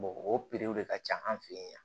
o de ka ca an fɛ yen